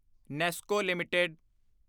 Nesco LTD